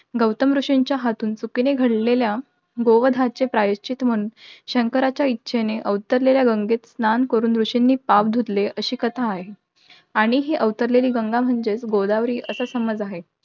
गौतम ऋषींच्या हातून चुकीने घडलेल्या गो वधाचे प्रायश्चित्त म्हणून, शंकराच्या इच्छेने अवतरलेल्या गंगेत स्नान करून ऋषींनी पाप धुतले, अशी कथा आहे. आणि ही अवतरलेली गंगा म्हणजे गोदावरी, असा समज आहे.